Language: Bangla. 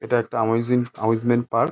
এটা একটা আমাইজিন অ্যামুজমেন্ট পার্ক |